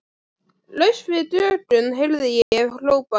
Laust fyrir dögun heyrði ég hrópað.